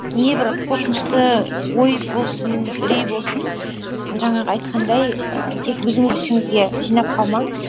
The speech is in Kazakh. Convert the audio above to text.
не бір қорқынышты ой болсын үрей болсын жаңағы айтқандай ііі тек өзіңіз ішіңізге жинап қалмаңыз